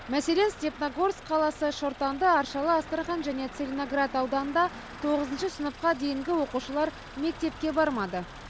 мәселен степногорск қаласы шортанды аршалы астрахань және целиноград ауданында тоғызыншы сыныпқа дейінгі оқушылар мектепке бармады